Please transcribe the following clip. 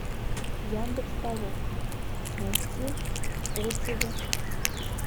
яндекс толока найти отзывы